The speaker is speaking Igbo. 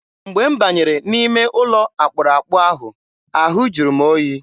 Mgbe m banyere n'ime ụlọ akpụrụakpụ ahụ, ahụ jụrụ oyi.